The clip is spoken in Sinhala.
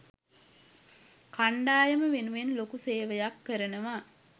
කණ්ඩායම වෙනුවෙන් ලොකු සේවයක් කරනවා.